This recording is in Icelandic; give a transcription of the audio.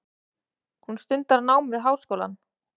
Hún stundar nám við háskólann.